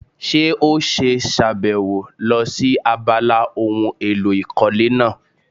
Ṣé ó ṣe sàbẹ̀wò lọ sí abala ohun èlò ìkọ́lé náà?